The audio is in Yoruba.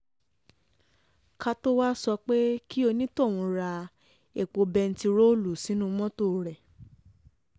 ká tóo um wáá sọ pé kí onítọ̀hún ra epo bẹntiróòlù sínú um mọ́tò rẹ